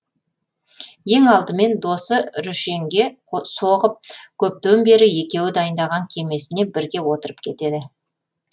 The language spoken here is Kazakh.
ең алдымен досы рүшенге соғып көптен бері екеуі дайындаған кемесіне бірге отырып кетеді